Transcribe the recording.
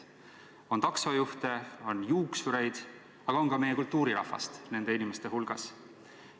On taksojuhte, on juuksureid, aga on ka meie kultuurirahvast nende inimeste hulgas.